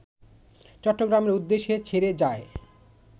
চট্টগ্রামের উদ্দেশ্যে ছেড়ে যায়